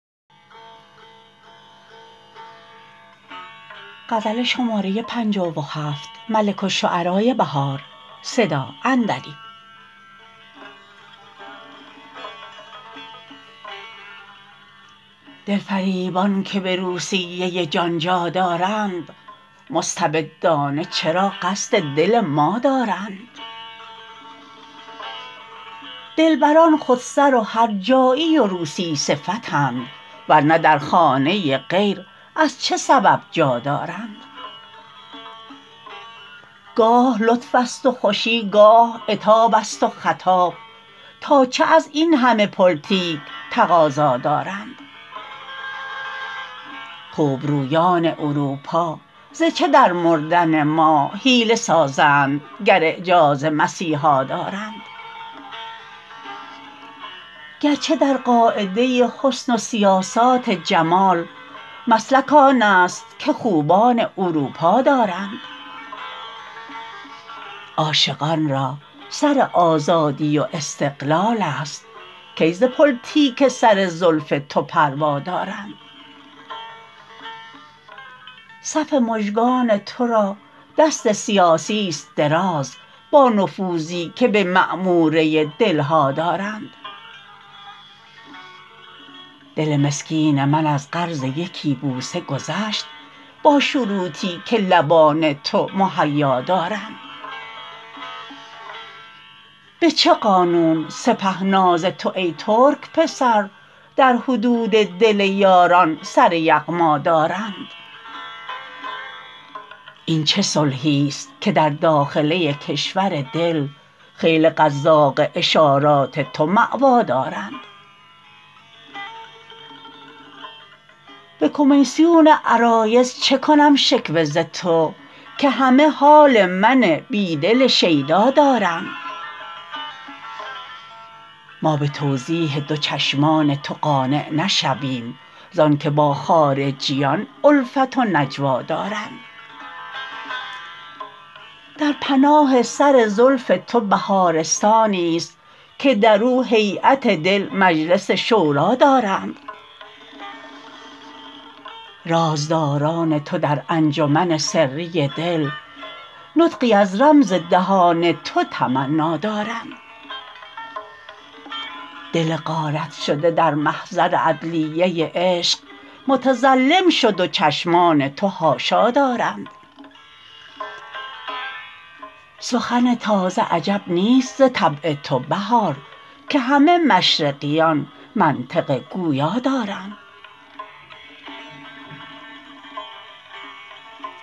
دل فریبان که به روسیه جان جا دارند مستبدانه چرا قصد دل ما دارند دلبران خودسر و هرجایی و روسی صفتند ورنه در خانه غیر از چه سبب جا دارند گاه لطف است و خوشی گاه عتاب است و خطاب تا چه از این همه پلتیک تقاضا دارند خوبرویان اروپا ز چه در مردن ما حیله سازند گر اعجاز مسیحا دارند گرچه در قاعده حسن و سیاسات جمال مسلک آن است که خوبان اروپا دارند عاشقان را سر آزادی و استقلال است کی ز پلتیک سر زلف تو پروا دارند صف مژگان تو را دست سیاسی است دراز با نفوذی که به معموره دل ها دارند دل مسکین من از قرض یکی بوسه گذشت با شروطی که لبان تو مهیا دارند به چه قانون سپه ناز تو ای ترک پسر در حدود دل یاران سر یغما دارند این چه صلحی است که در داخله کشور دل خیل قزاق اشارات تو مأوا دارند به کمیسیون عرایض چه کنم شکوه ز تو که همه حال من بیدل شیدا دارند ما به توضیح دو چشمان تو قانع نشویم زان که با خارجیان الفت و نجوا دارند در پناه سر زلف تو بهارستانی است که در او هییت دل مجلس شوری دارند رازداران تو در انجمن سری دل نطقی از رمز دهان تو تمنا دارند دل غارت شده در محضر عدلیه عشق متظلم شد و چشمان تو حاشا دارند سخن تازه عجب نیست ز طبع تو بهار که همه مشرقیان منطق گویا دارند